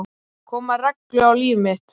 Koma reglu á líf mitt.